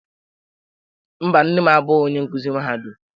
Mba, nne m abụghị onye nkuzi mahadum.